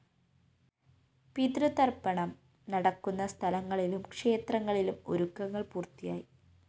പിതൃതര്‍പ്പണം നടക്കുന്ന സ്ഥലങ്ങളിലും ക്ഷേത്രങ്ങളിലും ഒരുക്കങ്ങള്‍ പൂര്‍ത്തിയായി